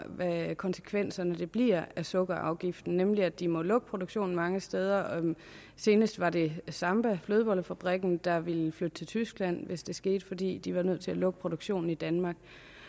hvad konsekvenserne bliver af sukkerafgiften nemlig at de må lukke produktionen mange steder senest var det samba flødebollefabrikken der ville flytte til tyskland hvis det skete fordi de var nødt til at lukke produktionen i danmark